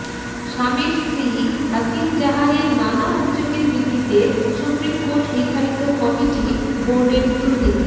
শামির স্ত্রী হাসিন জাহানের নানা অভিযোগের ভিত্তিতে সুপ্রিম কোর্ট নির্ধারিত কমিটি বোর্ডের দুর্নীতি